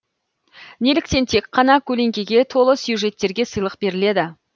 неліктен тек қана көлеңкеге толы сюжеттерге сыйлық беріледі